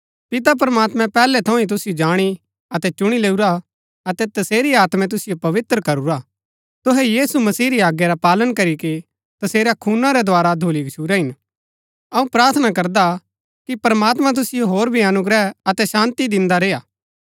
पिता प्रमात्मैं पैहलै थऊँ ही तुसिओ जाणी अतै चुणी लैऊरा अतै तसेरी आत्मै तुसिओ पवित्र करूरा तुहै यीशु मसीह री आज्ञा रा पालन करीके तसेरै खूना रै द्धारा धुली गच्छुरै हिन अऊँ प्रार्थना करदा कि प्रमात्मां तुसिओ होर भी अनुग्रह अतै शान्ती दिन्दा रेय्आ